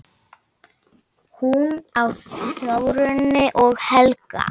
Hún á Þórunni og Helga.